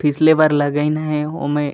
पिछले बार लगइन हे ओमें--